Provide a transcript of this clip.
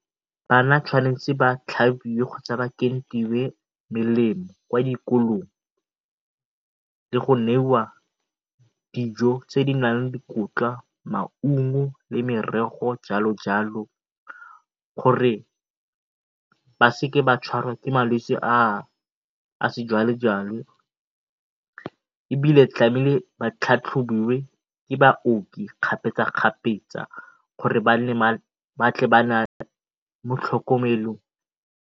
Bana tshwanetse ba tlhabiwe kgotsa ba melemo kwa dikolong le go neiwa dijo tse di nang le dikotla, maungo le merogo, jalo jalo gore ba seke ba tshwarwa ke malwetse a ebile ba tlhatlhobiwe ke baoki kgapetsa kgapetsa gore mo tlhokomelong.